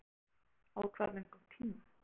Guðrún Heimisdóttir: Á hvað löngum tíma?